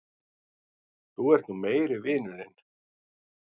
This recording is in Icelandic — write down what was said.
Þú ert nú meiri vinurinn!